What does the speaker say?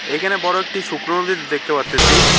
এখানে বড় একটি শুকনো নদী দেখতে পারতেসি।